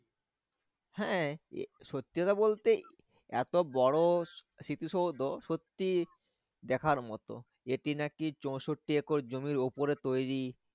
হ্যাঁ সত্যি কথা বলতে এতো বড়ো স্মৃতিসৌধ সত্যি দেখার মতো এটি নাকি চৌষট্টি একর জমির ওপরে তৈরী।